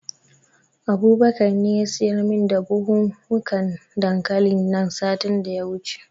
Abubakar ne ya siyar min da buhunhukan dankalin nan satin da ya wuce.